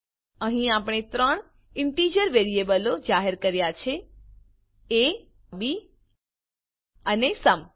અહીં આપણે ત્રણ ઈંટીજર વેરીએબલો જાહેર કર્યા છે એ બી અને સુમ